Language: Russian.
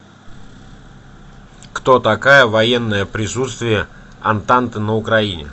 кто такая военное присутствие антанты на украине